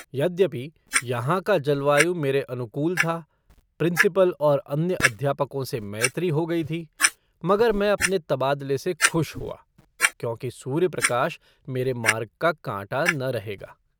यद्यपि यहाँ का जलवायु मेरे अनुकूल था, प्रिंसिपल और अन्य अध्यापकों से मैत्री हो गई थी, मगर मैं अपने तबादले से खुश हुआ क्योंकि सूर्यप्रकाश मेरे मार्ग का काँटा न रहेगा।